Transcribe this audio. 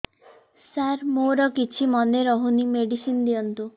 ସାର ମୋର କିଛି ମନେ ରହୁନି ମେଡିସିନ ଦିଅନ୍ତୁ